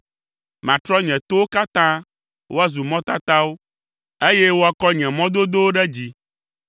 Matrɔ nye towo katã woazu mɔtatawo, eye woakɔ nye mɔ dodowo ɖe dzi.